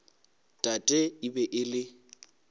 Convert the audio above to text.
tate e be e le